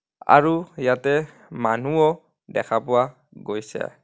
আৰু ইয়াতে মানুহো দেখা পোৱা গৈছে.